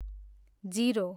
zero